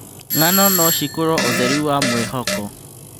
Ng'ano no cikorwo ũtheri wa mwĩhoko.